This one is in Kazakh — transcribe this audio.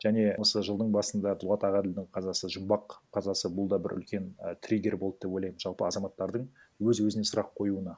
және осы жылдың басында дулат ағаділдің қазасы жұмбақ қазасы бұлда бір үлкен і триггер болды деп ойлаймын жалпы азаматтардың өз өзіне сұрақ қоюына